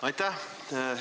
Aitäh!